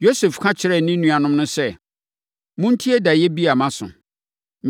Yosef ka kyerɛɛ ne nuanom no sɛ, “Montie daeɛ bi a maso.